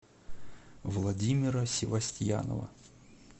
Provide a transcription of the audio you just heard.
владимира севостьянова